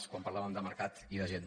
quan parlàvem de mercat i de gent